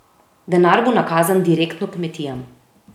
Denar bo nakazan direktno kmetijam.